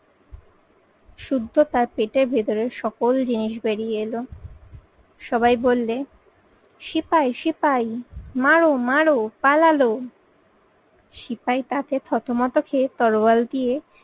শুদ্ধ তার পেটের ভেতরের সকল জিনিস বেরিয়ে এলো। সবাই বললে সিপাই, সিপাই, মারো, মারো পালালো। সিপাই তাকে থতমত খেয়ে তরোয়াল দিয়ে